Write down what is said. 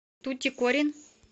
тутикорин